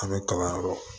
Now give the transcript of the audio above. An bɛ kalanyɔrɔ